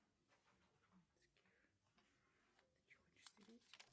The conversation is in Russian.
джой переведи брату с назначением платежа долг